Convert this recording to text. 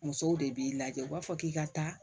Musow de b'i lajɛ u b'a fɔ k'i ka taa